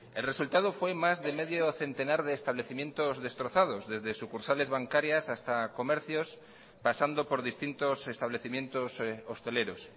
el resultado fue más de medio centenar de establecimientos destrozados desde sucursales bancarias hasta comercios pasando por distintos establecimientos hosteleros